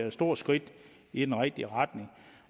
et stort skridt i den rigtige retning